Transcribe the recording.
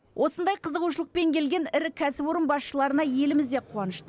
осындай қызығушылықпен келген ірі кәсіпорын басшыларына еліміз де қуанышты